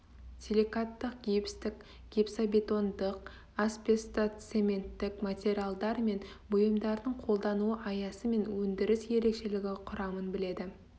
силикатық гипстік гипсобетондық асбестцоменттік материалдар мен бұйымдардың қолдану аясы мен өндіріс ерекшілігі құрамын біледі